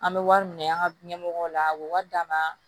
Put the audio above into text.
An bɛ wari minɛ an ka ɲɛmɔgɔw la a bɛ wari d'an ma